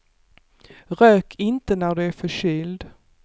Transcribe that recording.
Rök inte när du är förkyld.